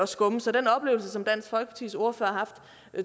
skumme så den oplevelse som dansk folkepartis ordfører har haft